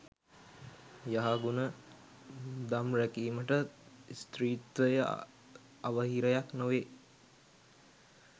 යහගුණ දම් රැකීමට ස්ත්‍රීත්වය අවහිරයක් නොවේ.